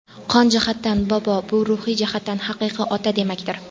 Qon jihatdan bobo bu ruhiy jihatdan haqiqiy ota demakdir.